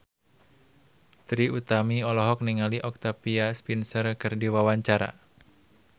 Trie Utami olohok ningali Octavia Spencer keur diwawancara